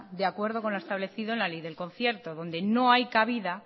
de acuerdo con lo establecido en la ley del concierto donde no hay cabida